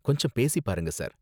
கொஞ்சம் பேசிப் பாருங்க, சார்.